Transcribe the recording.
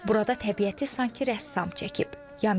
Burada təbiəti sanki rəssam çəkib.